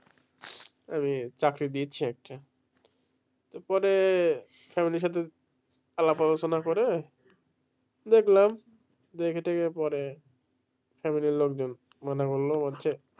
আমি চাকরি দিচ্ছি একটা এরপরে family সাথে সুলা পরমার্শ করে দেখলাম family লোকজন মানা করলো।